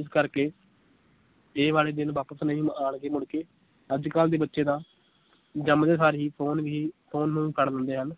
ਇਸ ਕਰਕੇ ਇਹ ਵਾਲੇ ਦਿਨ ਵਾਪਸ ਨਹੀ ਆਉਣਗੇ ਮੁੜ ਕੇ ਅੱਜ ਕੱਲ ਦੇ ਬੱਚੇ ਤਾਂ ਜੰਮਦੇ ਸਾਰ ਹੀ phone ਹੀ phone ਨੂੰ ਫੜ ਲੈਂਦੇ ਹਨ